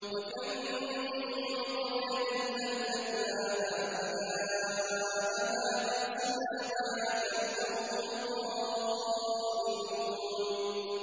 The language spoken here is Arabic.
وَكَم مِّن قَرْيَةٍ أَهْلَكْنَاهَا فَجَاءَهَا بَأْسُنَا بَيَاتًا أَوْ هُمْ قَائِلُونَ